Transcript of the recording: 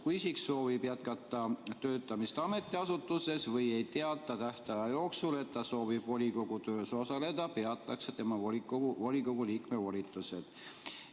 Kui isik soovib jätkata töötamist ametiasutuses või ei teata tähtaja jooksul, et ta soovib volikogu töös osaleda, peatatakse tema volikogu liikme volitused.